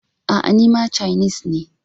A'a, ni ma cainis ne ba.